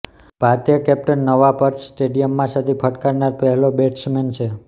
ભારતીય કેપ્ટન નવા પર્થ સ્ટેડિયમમાં સદી ફટકારનાર પહેલો બેટ્સમેન છે